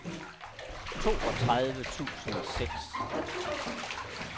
toogtredive tusind og seks